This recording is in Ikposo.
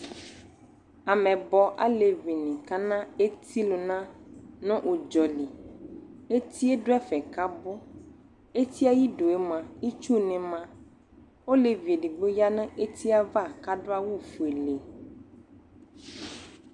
ameyibɔ alevii akana eti lunu nʋ udzɔli Etie ɖʋɛfɛ abu Etieɛ ayiduemoa ,itsuni maOlevi eɖigbo yanʋ nu etieava kaɖu awʋ fueled